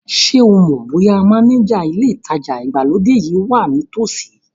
Ṣé o mọ̀ bóyá mánéjà ilé ìtajà ìgbàlódé yìí wà ní ìtòsí